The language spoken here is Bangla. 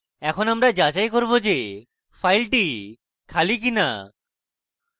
এখন আমরা যাচাই করব যে file খালি কিনা